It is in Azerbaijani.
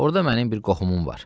Orda mənim bir qohumum var.